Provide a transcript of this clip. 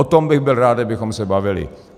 O tom bych byl rád, kdybychom se bavili.